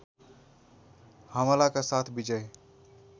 हमलाका साथ विजय